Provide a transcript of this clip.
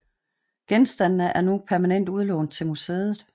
Genstandene er nu permanent udlånt til museet